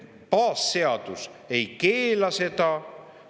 Baasseadus ei keela seda.